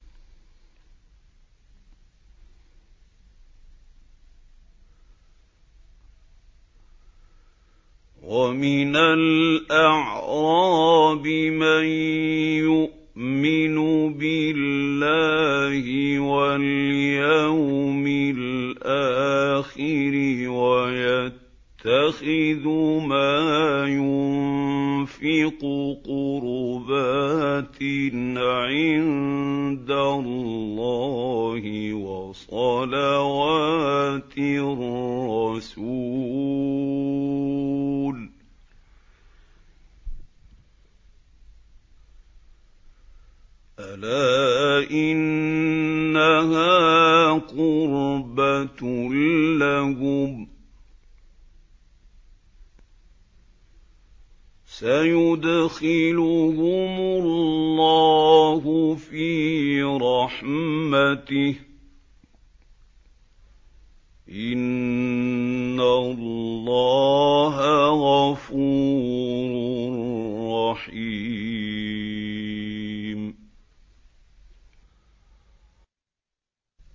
وَمِنَ الْأَعْرَابِ مَن يُؤْمِنُ بِاللَّهِ وَالْيَوْمِ الْآخِرِ وَيَتَّخِذُ مَا يُنفِقُ قُرُبَاتٍ عِندَ اللَّهِ وَصَلَوَاتِ الرَّسُولِ ۚ أَلَا إِنَّهَا قُرْبَةٌ لَّهُمْ ۚ سَيُدْخِلُهُمُ اللَّهُ فِي رَحْمَتِهِ ۗ إِنَّ اللَّهَ غَفُورٌ رَّحِيمٌ